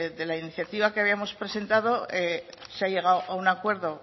de la iniciativa que habíamos presentado se ha llegado a un acuerdo